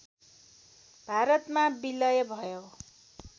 भारतमा विलय भयो